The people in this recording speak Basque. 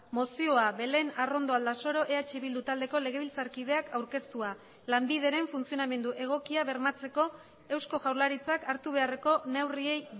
mozioa belén arrondo aldasoro eh bildu taldeko legebiltzarkideak aurkeztua lanbideren funtzionamendu egokia bermatzeko eusko jaurlaritzak hartu beharreko neurriei